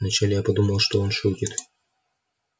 вначале я подумал что он шутит